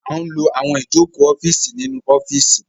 A n ló àwọn Ìjoko ọ́fíìsì ní ọ́fíìsì